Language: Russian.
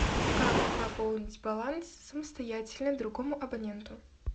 как пополнить баланс самостоятельно другому абоненту